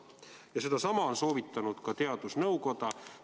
Ja sedasama on soovitanud ka teadusnõukoda.